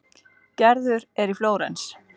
Gerður er í Flórens.